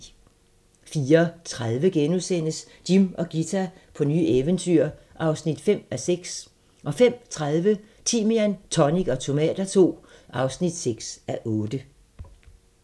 04:30: Jim og Ghita på nye eventyr (5:6)* 05:30: Timian, tonic og tomater II (6:8)